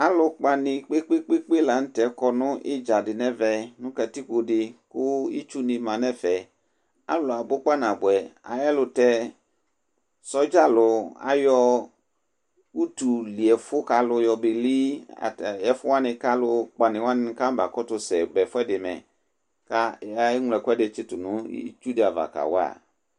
Alu ukpa ni kpekpekpe la nʋ tɛ akɔ nʋ idzadi nʋ ɛvɛ, nʋ katikpo di kʋ itsu ni ma nʋ ɛfɛ alu abʋ kpanabʋɛ Ayɛlʋtɛ, sɔdza alu ayɔ utu liɛfʋ ka alu yɔbeli, ɛfʋ wani kʋ alu ukpani wa kanaba kʋtʋsɛba ɛfʋɛdɩ mɛ Kʋ eŋlo ɛkʋɛdɩ, tsɩtʋ nʋ itsu di ava, kawa